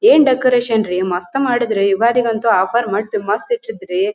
ಏನ್ ಡೆಕೋರೇಷನ ರಿ ಮಸ್ತ್ ಮಾಡಿದ್ರ ಯುಗಾದಿ ಅಂತೂ ಆಫರ್ ಮಟ್ ಮಸ್ತ್ ಇಟ್ಟಿದ್ ರೀ.